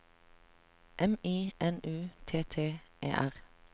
M I N U T T E R